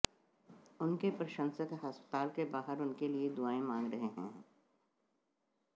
उनके प्रशंसक अस्पताल के बाहर उनके लिए दुआएं मांग रहे हैं